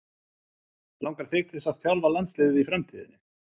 Langar þig til að þjálfa landsliðið í framtíðinni?